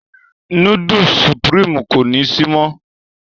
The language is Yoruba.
Núdùùsì Sùprììmú kò ni sí mọ.